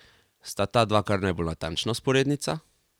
Sta ta dva kar najbolj natančna vzporednica?